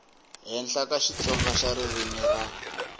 henhla xitsonga xa ririmi ra